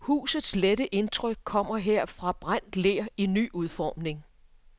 Husets lette indtryk kommer her fra brændt ler i ny udformning.